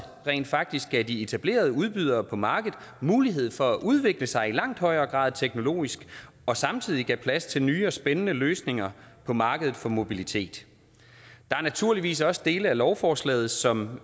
rent faktisk gav de etablerede udbydere på markedet mulighed for at udvikle sig i langt højere grad teknologisk og samtidig gav plads til nye og spændende løsninger på markedet for mobilitet der er naturligvis også dele af lovforslaget som